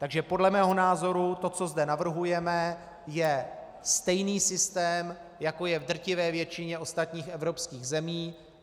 Takže podle mého názoru to, co zde navrhujeme, je stejný systém, jako je v drtivé většině ostatních evropských zemí.